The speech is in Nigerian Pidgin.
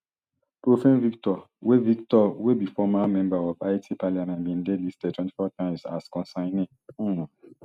prophane victor wey victor wey be former member of haiti parliament bin dey listed twenty-four times as consignee um